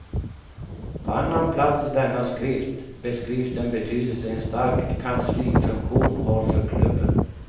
På annan plats i denna skrift beskrivs den betydelse en stark kanslifunktion har för klubben.